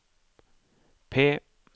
P